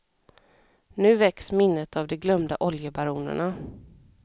Nu väcks minnet av de glömda oljebaronerna.